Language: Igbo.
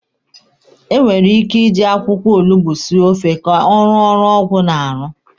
E nwere ike iji akwụkwọ olugbo esi ofe ka ọ rụọ ọrụ ọgwụ na-arụ.